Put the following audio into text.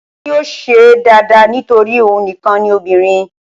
Wọn yóò ṣé é dáadáa nítorí òun nìkan ni obìnrin